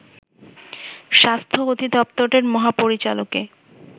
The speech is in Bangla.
স্বাস্থ্য অধিদপ্তরের মহাপরিচালকে